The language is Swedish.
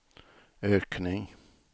ökning